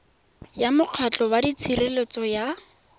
ya mokgatlho wa tshireletso ya